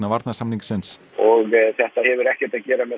varnarsamningsins þetta hefur ekkert að gera með